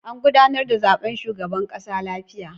An gudanar da zaben shugaban ƙasa lafiya.